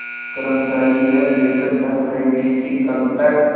कर्मचारी यह देखकर दंग रह गए कि कल तक